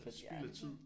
Spild af tid